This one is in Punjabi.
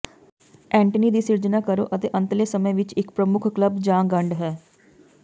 ਐਂਟੇਨੀ ਦੀ ਸਿਰਜਣਾ ਕਰੋ ਆਪਣੇ ਅੰਤਲੇ ਸਮੇਂ ਵਿੱਚ ਇੱਕ ਪ੍ਰਮੁੱਖ ਕਲੱਬ ਜਾਂ ਗੰਢ ਹੈ